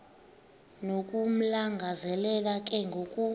nokumlangazelela ke ngoku